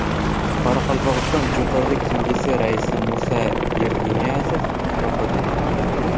Qoraqalpog‘iston Jo‘qorg‘i Kengesi raisi Musa Yerniyazov vafot etdi.